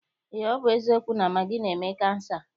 Eé, ọ bụ eziokwu na magị na-eme kansa.